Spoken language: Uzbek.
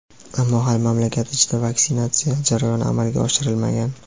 ammo hali mamlakat ichida vaksinatsiya jarayoni amalga oshirilmagan.